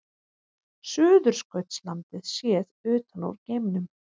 Suðurskautslandið séð utan úr geimnum.